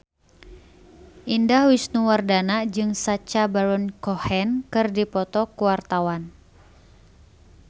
Indah Wisnuwardana jeung Sacha Baron Cohen keur dipoto ku wartawan